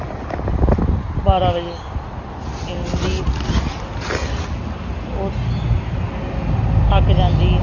ਬਾਰਾਂ ਵਜੇ ਕਹਿੰਦੀ ਉਹ ਥੱਕ ਜਾਂਦੀ ਹੈ।